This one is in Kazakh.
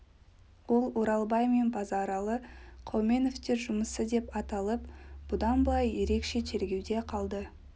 ол оралбай мен базаралы қауменовтер жұмысы деп аталып бұдан былай ерекше тергеуде қалды